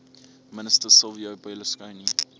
minister silvio berlusconi